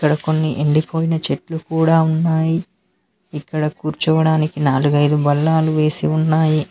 ఇక్కడ కొన్ని ఎండిపోయిన చెట్లు కూడా ఉన్నాయి ఇక్కడ కూర్చోవడానికి నాలుగైదు బల్లాలు వేసి ఉన్నాయి.